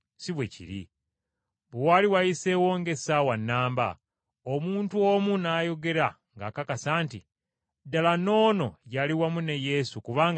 Bwe waali wayiseewo ng’essaawa nnamba, omuntu omu n’ayogera ng’akakasa nti, “Ddala n’ono yali wamu ne Yesu kubanga naye Mugaliraaya.”